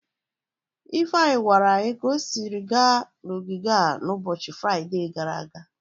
Ifeanyi gwara anyi ka o siri gaa n'ogige a n'ụbọchị Fraide gara aga.